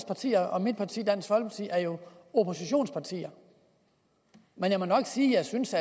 parti og mit parti dansk folkeparti er jo oppositionspartier men jeg må nok sige at jeg synes